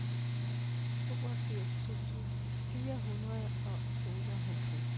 toogfirs tusind fire hundrede og otteoghalvtreds